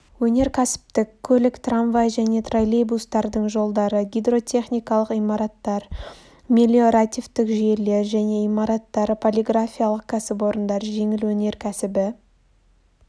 өнеркәсіптік көлік трамвай және троллейбустардың жолдары гидротехникалық имараттар мелиоративтік жүйелер және имараттар полиграфиялық кәсіпорындар жеңіл өнеркәсібі